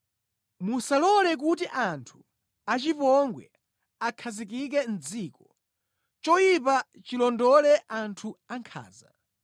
Musalole kuti anthu achipongwe akhazikike mʼdziko; choyipa chilondole anthu ankhanza.